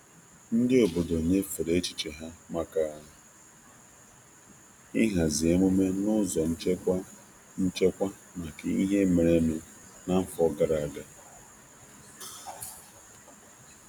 Ndị obodo nyefere echiche ha maka ịhazi emume n'ụzọ nchekwa nchekwa maka ihe merenụ n'afọ gara aga.